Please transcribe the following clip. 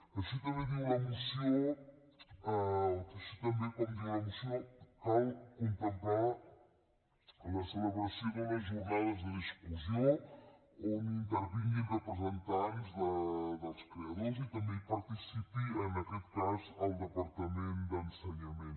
així també com diu la moció cal contemplar la celebració d’unes jornades de discussió on intervinguin representants dels creadors i també hi participi en aquest cas el departament d’ensenyament